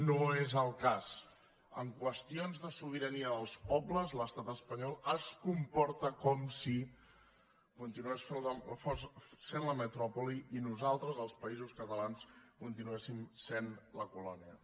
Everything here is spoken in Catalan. no és el cas en qüestions de sobirania dels pobles l’estat espanyol es comporta com si continués sent la metròpoli i nosaltres els països catalans continuéssim sent la colònia